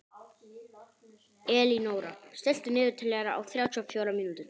Elínóra, stilltu niðurteljara á þrjátíu og fjórar mínútur.